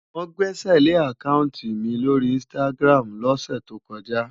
Wọ́n gbẹ́sẹ̀lé àkáùntì mi lórí Instagram lọ́sẹ̀ tó kọjá.